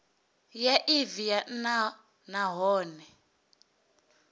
ya evee ya nha nahone